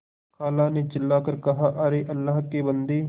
खाला ने चिल्ला कर कहाअरे अल्लाह के बन्दे